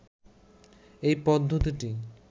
এ পদ্ধতিটি